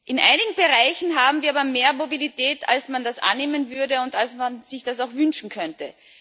In einigen Bereichen haben wir aber mehr Mobilität, als man das annehmen würde und als man sich das auch wünschen könnte.